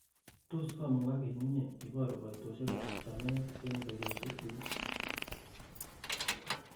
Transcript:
tos koimugak en inye iboru koitosyek ab chamet en ureryosyekyuk ii